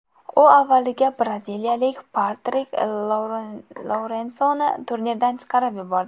U avvaliga braziliyalik Patrik Lourensoni turnirdan chiqarib yubordi.